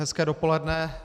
Hezké dopoledne.